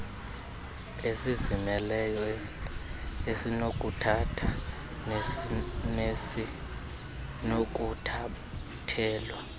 esizimeleyo esinokuthatha nesinokuthathelwa